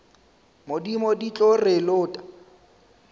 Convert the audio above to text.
modimo di tlo re lota